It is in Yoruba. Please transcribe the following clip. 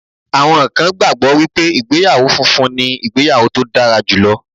Àwọn kan gbàgbọ́ wípé ìgbéyàwó funfun ni ìgbéyàwó tó dára jùlọ